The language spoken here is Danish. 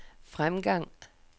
fremgang